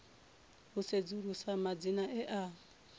u sedzulusa madzina e a